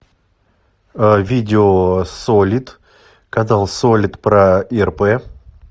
видео солид канал солид про ирп